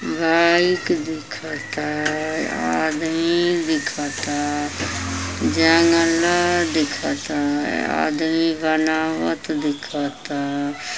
Bike दिखता। आदमी दिखता। जंगला दिखता। आदमी बनावत दिखता